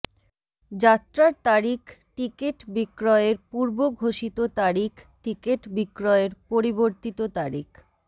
যাত্রার তারিখ টিকেট বিক্রয়ের পূর্ব ঘোষিত তারিখ টিকেট বিক্রয়ের পরিবর্তিত তারিখ